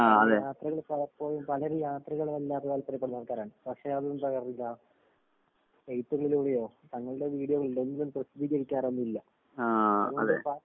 കാരണം യാത്രകള് പലപ്പോഴും പലര് യാത്രകളെ വല്ലാതെ താൽപര്യപ്പെടുന്ന ആൾക്കാരാണ്. പക്ഷെ അതൊന്നും എഴുത്തുകളിലൂടെയോ തങ്ങളുടെ വീഡിയോകളിലോ ഒന്നും തന്നെ പ്രസിദ്ധീകരിക്കാറൊന്നും ഇല്ല. അതുകൊണ്ടിപ്പ